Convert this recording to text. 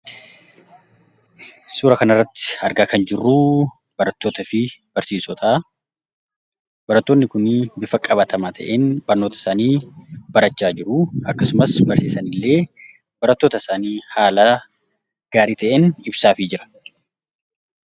Suuraa kana irratti argaa kan jirru barattootaa fi barsiisota. Barattoonni kun bifa qabatamaa ta'een barnoota isaanii barachaa jiru. Akkasuma barsiisaan illee barattoota isaanii haala gaarii ta'een ibsaafii jira.